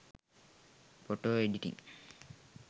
photo editing